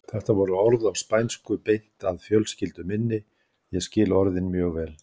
Þetta voru orð á spænsku beint að fjölskyldu minni, ég skil orðin mjög vel.